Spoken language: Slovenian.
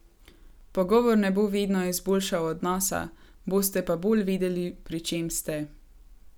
Pogovor ne bo vedno izboljšal odnosa, boste pa bolj vedeli, pri čem ste.